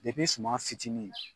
Depi suma fitini